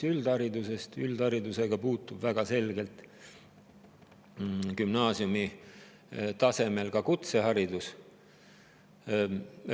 Üldharidusega on gümnaasiumi tasemel seotud ka kutseharidus.